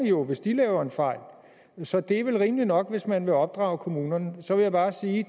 jo hvis de laver en fejl så det er vel rimeligt nok hvis man vil opdrage kommunerne så vil jeg bare sige